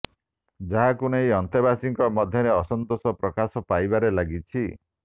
ଯାହାକୁ ନେଇ ଅନ୍ତେବାସୀଙ୍କ ମଧ୍ୟରେ ଅସନ୍ତୋଷ ପ୍ରକାଶ ପାଇବାରେ ଲାଗିଛି